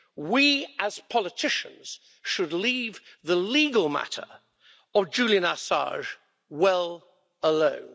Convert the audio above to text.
We as politicians should leave the legal matter of Julian Assange well alone.